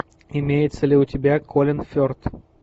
имеется ли у тебя колин ферт